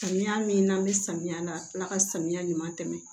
Samiya min n'an bɛ samiya la tila ka samiya ɲuman tɛmɛ